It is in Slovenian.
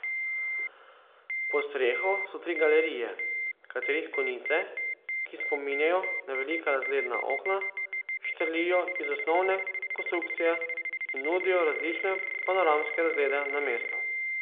Pod streho so tri galerije, katerih konice, ki spominjajo na velika razgledna okna, štrlijo iz osnovne konstrukcije in nudijo različne panoramske razglede na mesto.